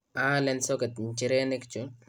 aalen socket nchirenik chu